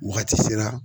Wagati sera